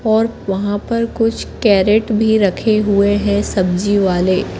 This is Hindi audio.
और वहां पर कुछ कैरेट भी रखे हुए है सब्जी वाले--